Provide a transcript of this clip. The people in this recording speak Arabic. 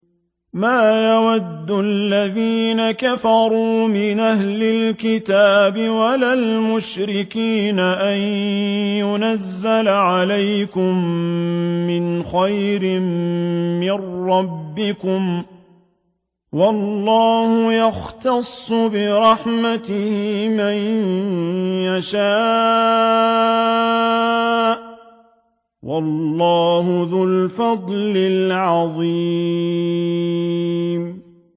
مَّا يَوَدُّ الَّذِينَ كَفَرُوا مِنْ أَهْلِ الْكِتَابِ وَلَا الْمُشْرِكِينَ أَن يُنَزَّلَ عَلَيْكُم مِّنْ خَيْرٍ مِّن رَّبِّكُمْ ۗ وَاللَّهُ يَخْتَصُّ بِرَحْمَتِهِ مَن يَشَاءُ ۚ وَاللَّهُ ذُو الْفَضْلِ الْعَظِيمِ